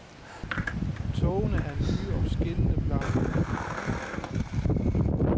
Togene er nye og skinnende blanke.